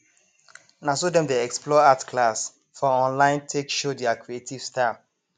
na so dem dey explore art class for online take show their creative style